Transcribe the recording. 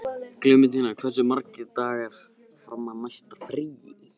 Klementína, hversu margir dagar fram að næsta fríi?